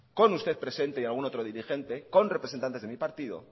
con usted presente y algún otro dirigente con representantes de mi partido